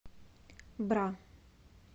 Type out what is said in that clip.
бра